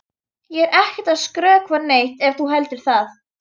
Ég er ekkert að skrökva neitt ef þú heldur það.